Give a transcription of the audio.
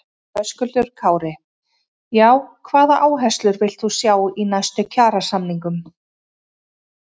Höskuldur Kári: Já, hvaða áherslur villt þú sjá í næstu kjarasamningum?